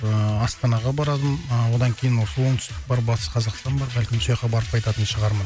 ыыы астанаға барады ыыы одан кейін осы оңтүстік бар батыс қазақстан бар бәлкім сояққа барып қайтатын шығармын